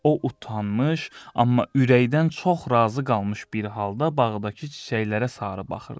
O utanmış, amma ürəkdən çox razı qalmış bir halda bağdakı çiçəklərə sarı baxırdı.